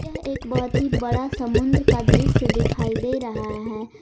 यह एक बहोत ही बड़ा समुंद्र का दृश्य दिखाई दे रहा है।